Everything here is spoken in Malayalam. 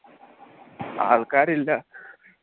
ആൾക്കാരില്ല